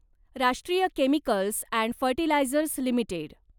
राष्ट्रीय chemicals and fertilisers limited